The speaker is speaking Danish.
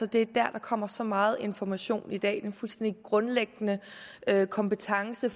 der der kommer så meget information i dag det er en fuldstændig grundlæggende kompetence